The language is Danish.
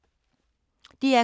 DR K